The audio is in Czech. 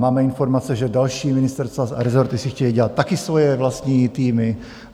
Máme informace, že další ministerstva a rezorty si chtějí dělat také svoje vlastní týmy.